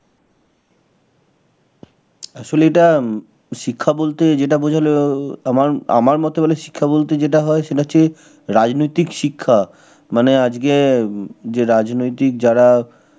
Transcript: আসলে এটা উম শিক্ষা বলতে যেটা বোঝালো, আমার আমার মতে বলে শিক্ষা বলতে যেটা হয় সেটা হচ্ছে, রাজনৈতিক শিক্ষা. মানে আজকে হম যে রাজনৈতিক যারা